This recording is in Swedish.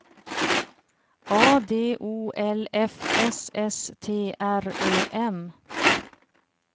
A D O L F S S T R Ö M